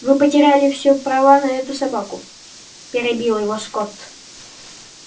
вы потеряли всё права на эту собаку перебил его скотт